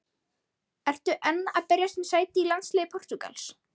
Ertu enn að berjast um sæti í landsliði Portúgals?